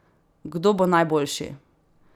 Kdo bo najboljši?